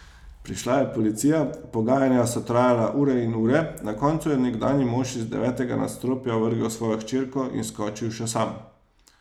Prišla je policija, pogajanja so trajala ure in ure, na koncu je nekdanji mož iz devetega nadstropja vrgel svojo hčerko in skočil še sam.